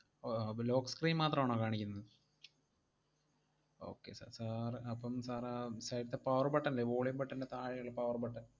ആഹ് അപ്പം lock screen മാത്രാണോ കാണിക്കിന്ന~ okay sir, sir അപ്പം sir ആഹ് side ത്തെ power button ല്ലേ, volume button ൻറെ താഴെയുള്ള power button